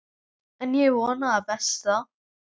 En ég vona það besta.